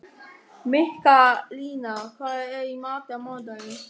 Mikkalína, hvað er í matinn á mánudaginn?